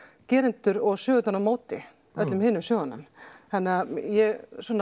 gerendur og sögurnar á móti öllum hinum sögunum þannig að ég svona